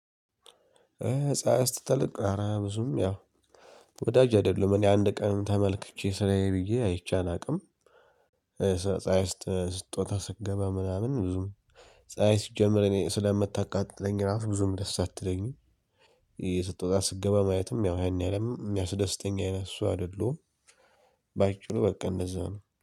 ህፃይስ ትልቅ አረ ብዙም ያው ወዳጅ አይደለሁም እኔ አንድ ቀን ተመልክቼ ስራዬ ብዬ አይቼ አላውቅም። ፀሀይ ስትዎጣ ስትገባ ምናምን ብዙም ፀሀይ ሲጀመር እኔ ስለምታቃጥለኝ ራሱ ብዙም ደስ አትለኝም። ስትወጣ ስትገባ ማየትም ያው ያኔ አለም የሚያስደስተኝ አይነት ሰው አይደለሁም። ባጭሩ በቃ እንደዛ ነው